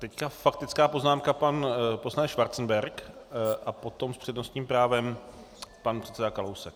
Teď faktická poznámka pan poslanec Schwarzenberg a potom s přednostním právem pan předseda Kalousek.